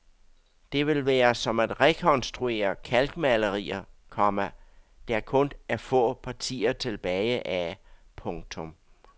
Det vil være som at rekonstruere kalkmalerier, komma der kun er få partier tilbage af. punktum